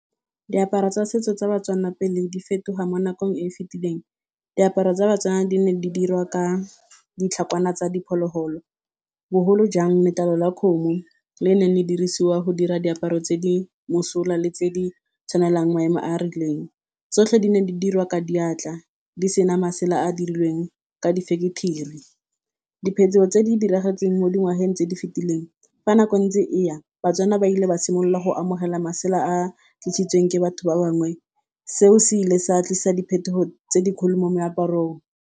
Diaparo tsa setso tsa Batswana pele di fetoga mo nakong e e fetileng, diaparo tsa batswana di ne di dirwa ka ditlhakwana tsa diphologolo. Bogolo jang letlalo la kgomo le neng di dirisiwa go dira diaparo tse di mosola le tse di tshwanelang maemo a a rileng. Tsotlhe di ne di dirwa ka diatla di sena masela a a dirilweng ka di-factory. Diphetogo tse di diragetseng mo dingwageng tse di fetileng fa nako e ntse e ya batswana ba ile ba simolola go amogela masela a tlisitsweng ke batho ba bangwe. Seo se ile sa tlisa diphetogo tse di kgolo mo moaparong.